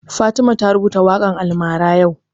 Fatima ta rubuta waƙan almara yau